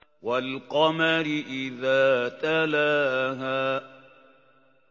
وَالْقَمَرِ إِذَا تَلَاهَا